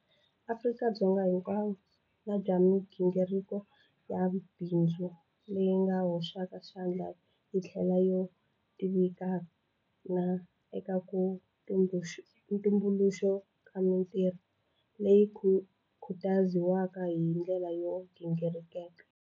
Afrika-Dzonga hinkwavo na bya migingiriko ya mabindzu leyi yi hoxaka xandla hi ndlela yo tivikana eka ku tumbuluxiwa ka mitirho, leyi khutaziwaka hi ndlela yo gingiriteka.